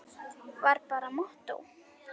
Var bara mottó.